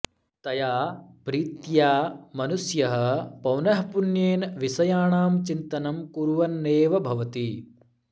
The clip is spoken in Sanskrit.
तया प्रीत्या मनुष्यः पौनःपुन्येन विषयाणां चिन्तनं कुर्वन्नेव भवति